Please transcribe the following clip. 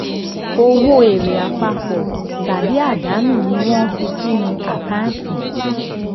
owó èrè àpapọ̀ tàbí àdánù ni wọ́n fi sínú àkáǹtì.